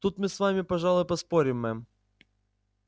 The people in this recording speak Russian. тут мы с вами пожалуй поспорим мэм